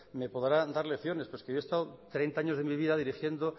me podrá dar lecciones pero es que yo he estado treinta años de mi vida dirigiendo